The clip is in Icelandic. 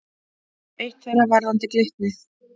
Eitt þeirra varðar Glitni.